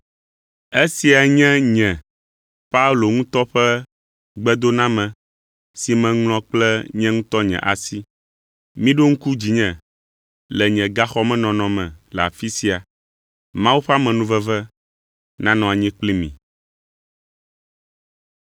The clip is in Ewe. Esia nye nye Paulo ŋutɔ ƒe gbedoname si meŋlɔ kple nye ŋutɔ nye asi. Miɖo ŋku dzinye le nye gaxɔmenɔnɔ me le afi sia. Mawu ƒe amenuveve nanɔ anyi kpli mi.